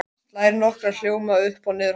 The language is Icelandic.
Slær nokkra hljóma upp og niður hálsinn.